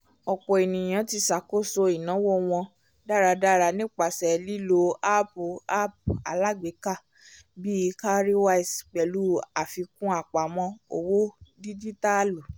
ọ̀pọ̀ ènìyàn ti ṣàkóso ináwó wọn dáradára nípasẹ̀ lílo áàpùapp alágbèéká bíi cowrywise pẹ̀lú àfikún apamọ́ owó díjítàlù